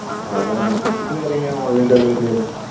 അതാണ് food വരെ ഇങ്ങനെ online delivery ആണ്.